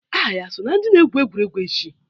Aha ya so na ndị ga-egwu egwuregwu echi?